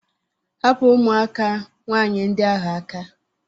Hapụ ụmụaka nwaanyị ndị ahụ aka!